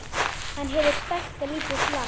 Hann hefur stækkað lítið land